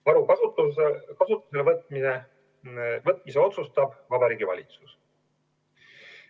Varu kasutusele võtmise otsustab Vabariigi Valitsus.